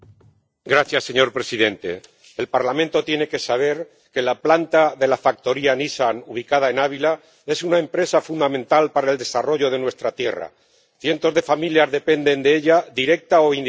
Señor presidente, el Parlamento tiene que saber que la planta de la factoría Nissan, ubicada en Ávila, es una empresa fundamental para el desarrollo de nuestra tierra cientos de familias dependen de ella directa o indirectamente.